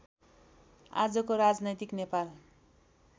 आजको राजनैतिक नेपाल